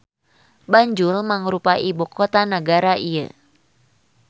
Banjul mangrupa ibu kota nagara ieu.